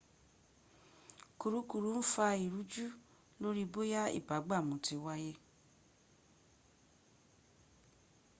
kùrukùru ń fa ìrújú lórí bóyá ìbúgbàmù ti wáyé